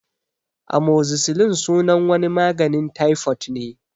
Amozicilin sunan wani maganin taifot ne